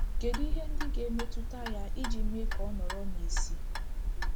Kedu ihe ndị ga-emetụta ya iji mee ka ọ nọrọ n'isi?